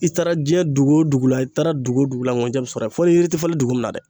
I taara diɲɛ dugu o dugu la, i taara dugu o dugu la, nkunjɛ bɛ sɔrɔ yen fɔ ni yiri tɛ falen dugu min na dɛ.